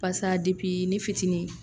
Pasa depi ne fitini